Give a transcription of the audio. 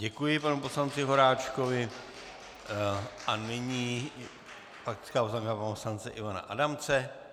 Děkuji panu poslanci Horáčkovi a nyní faktická poznámka pana poslance Ivana Adamce.